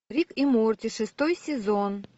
рик и морти шестой сезон